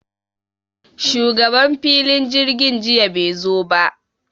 Shugaban filin jirgin jiya be zo ba